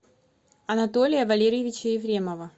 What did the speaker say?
анатолия валерьевича ефремова